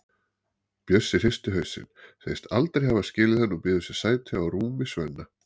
Bjössi hristir hausinn, segist aldrei hafa skilið hann og býður sér sæti á rúmi Svenna.